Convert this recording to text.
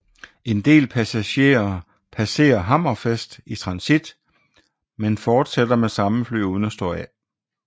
En del passagerer passerer Hammerfest i transit men fortsætter med samme fly uden at stå af